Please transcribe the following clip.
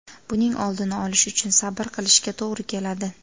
Buning oldini olish uchun sabr qilishga to‘g‘ri keladi.